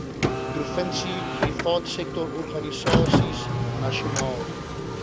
provinsie privaatsektororganisasies nasionaal